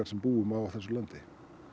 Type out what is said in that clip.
sem búa á þessu landi